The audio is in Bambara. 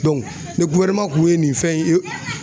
ni kun ye nin fɛn ye